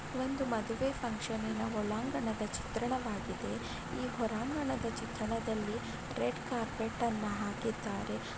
ಒಂದು ಮದುವೆ ಫಂಕ್ಷನ್ ನಿನ ಒಳಾಂಗಣದ ಚಿತ್ರಣವಾಗಿದೆ ಈ ಹೊರಾಂಗಣದ ಚಿತ್ರಣದಲ್ಲಿ ರೆಡ್ ಕಾರ್ಪೆಟ್ನ್ನು ಹಾಕಿದ್ದಾರೆ.